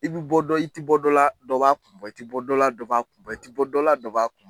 I b'i bɔ dɔn i tɛ bɔ dɔ la dɔ ba kun bɔ, i tɛ bɔ dɔ la dɔ ba kun bɔ, i tɛ bɔ dɔ la dɔ ba kun bɔ.